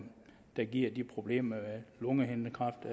der giver de problemer lungehindekræft